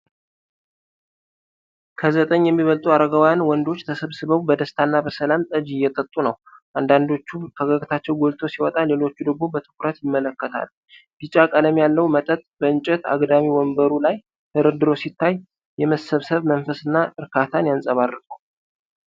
ከዘጠኝ የሚበልጡ አረጋውያን ወንዶች ተሰብስበው በደስታና በሰላም ጠጅ እየጠጡ ነው። አንዳንዶቹ ፈገግታቸው ጎልቶ ሲወጣ፤ ሌሎች ደግሞ በትኩረት ይመለከታሉ። ቢጫ ቀለም ያለው መጠጥ በእንጨት አግዳሚ ወንበሩ ላይ ተደርድሮ ሲታይ፤ የመሰብሰብ መንፈስ እና እርካታን ያንጸባርቃል።